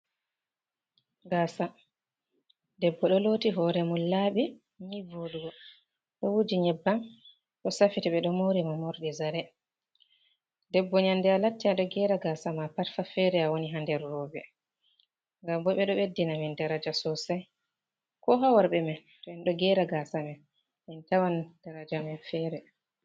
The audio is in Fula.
Gasa. debbo ɗo loti hore mum labi nii voɗugo. Ɗo wuji nyebbam bo safiti be ɗo maurimo morɗi zare. Ɗebbo nyande a latti aɗo gera gasa ma patfa, fere a woni ha nder robe ngam bo be ɗo beddina min daraja sosai. Ko ha warbe man to en ɗo gera gasa man en tawan daraja man fere.